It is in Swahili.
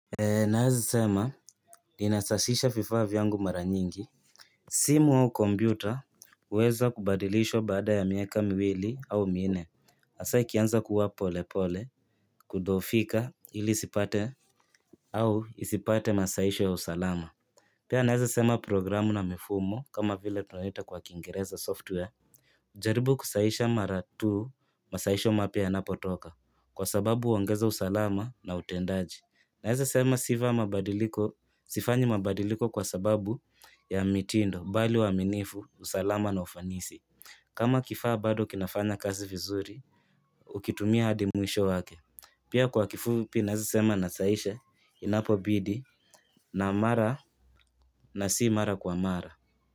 Naweza sema ninasafisha vifaa vyangu mara nyingi simu au kompyuta huweza kubadilishwa baada ya miaka miwili au minne hasa ikianza kuwa pole pole kuzofika hili isipate au isipate masaisho ya usalama Pia naweza sema programu na mifumo kama vile tunaita kwa kingereza software jaribu kusaisha mara tuu masaisho mapya yanapotoka kwa sababu huongeza usalama na utendaji Naweza sema sifa ya mabadiliko, sifanyi mabadiliko kwa sababu ya mitindo, bali uaminifu, usalama na ufanisi. Kama kifaa bado kinafanya kazi vizuri, hukitumia hadi mwisho wake. Pia kwa kifupi ninaweza sema nasaisha, inapo bidi, na mara na si mara kwa mara.